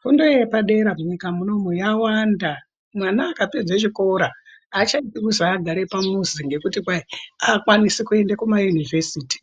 Fundo yepadera munyika munomu yawanda mwana akapedza chikora achadi kuzi agare pamuzi ngekuti kwai aakwanisi kuende kumayunovhesiti